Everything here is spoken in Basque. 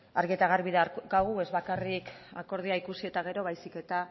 argi eta garbi daukagu ez bakarrik akordioa ikusi eta gero baizik eta